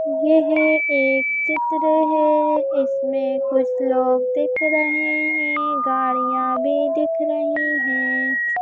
यह एक चित्र है इसमें कुछ लोग दिख रहे हैं गाड़िया भी दिख रही है।